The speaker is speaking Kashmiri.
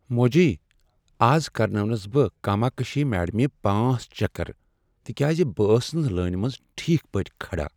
موجی ، از کرنٲونس بہٕ کاماکشی میڈمہِ پانژھ چكر تکیاز بہٕ ٲسس نہٕ لٲنہِ منز ٹھیک پٲٹھۍ کھڑا